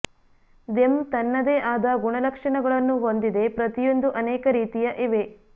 them ತನ್ನದೇ ಆದ ಗುಣಲಕ್ಷಣಗಳನ್ನು ಹೊಂದಿದೆ ಪ್ರತಿಯೊಂದೂ ಅನೇಕ ರೀತಿಯ ಇವೆ